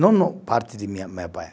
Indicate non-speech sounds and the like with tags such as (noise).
Não na parte de (unintelligible)